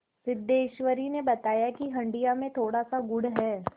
सिद्धेश्वरी ने बताया कि हंडिया में थोड़ासा गुड़ है